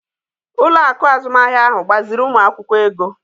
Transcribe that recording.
Ụlọ akụ azụmahịa ahụ gbaziiri ụmụ akwụkwọ ego.